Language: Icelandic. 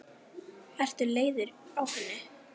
Ertu leiður á henni?